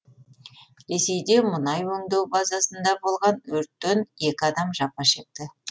ресейде мұнай өңдеу базасында болған өрттен екі адам жапа шекті